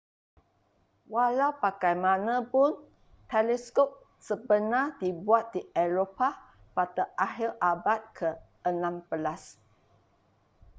walau bagaimanapun teleskop sebenar dibuat di eropah pada akhir abad ke-16